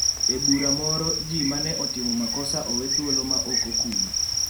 E bura moro, ji mane otimo makosa owe thuolo ma ok okum.